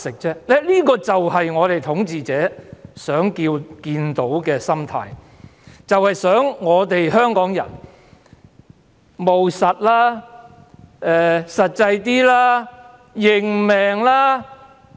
這正是統治者想看到的心態，他們便是想香港人務實、實際些、"認命"。